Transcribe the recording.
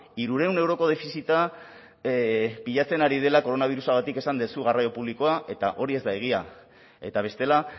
hirurehun euroko defizita pilatzen ari dela koronabirusagatik esan duzu garraio publikoa eta hori ez da egia eta bestela